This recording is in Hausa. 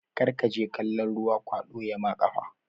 Karkaje kalon ruwa kwaɗo yama ƙafa